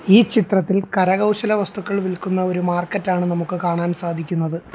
ഈ ചിത്രത്തിൽ കരകൗശല വസ്തുക്കൾ വിലക്കുന്ന ഒരു മാർക്കറ്റ് ആണ് നമുക്ക് കാണാൻ സാധിക്കുന്നത്.